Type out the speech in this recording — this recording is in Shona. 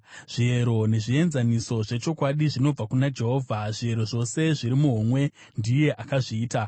Zviyero nezvienzaniso zvechokwadi zvinobva kuna Jehovha; zviyero zvose zviri muhomwe ndiye akazviita.